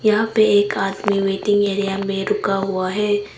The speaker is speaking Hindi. यहां पे एक आदमी वेटिंग एरिया में रुका हुआ है।